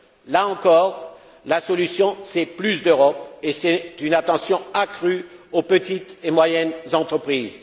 Là encore, la solution c'est plus d'Europe et c'est une attention accrue aux petites et moyennes entreprises.